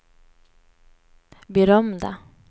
berömda